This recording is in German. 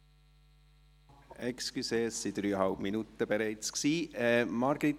Entschuldigen Sie, das waren bereits dreieinhalb Minuten!